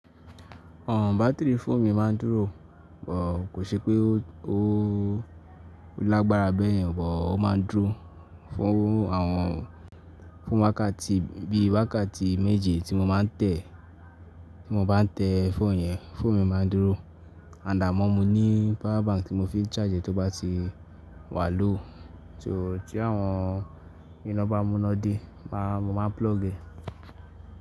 Ọ̀n batterí fóònù mi máa ń dúrò, bọ̀ kò ṣepé ó lágbára bẹ́ẹ̀ yẹn, bọ̀ ó máa ń dúrò fún àwọn, fún wákàtì bí i wákàtì méje tí mo máa ń tẹ̀, tí mo bá ń tẹ fóònù yẹn fóònù mi máa ń dúrò. Àdá amọ́ mi ní power bank tí mo fi ń charge é tí ó bá ti wà ló, tí àwọn iná bá múná de, màá mo máa plug è.